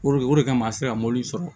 o de kama an sera sɔrɔ